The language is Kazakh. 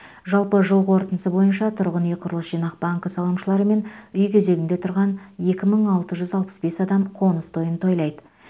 жалпы жыл қорытындысы бойынша тұрғын үй құрылыс жинақ банкі салымшылары мен үй кезегінде тұрған екі мың алты жүз алпыс бес адам қоныс тойын тойлайды